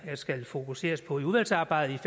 skal fokuseres på i udvalgsarbejdet